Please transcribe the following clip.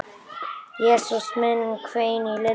Jesús minn hvein í Lillu.